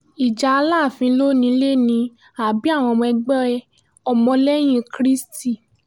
ìjà alaafin ló nílé ni àbí àwọn ẹgbẹ́ ọmọlẹ́yìn kristi